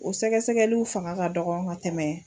O sɛgɛsɛgɛliw fanga ka dɔgɔ ka tɛmɛ.